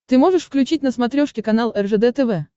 ты можешь включить на смотрешке канал ржд тв